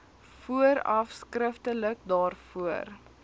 vooraf skriftelik daarvoor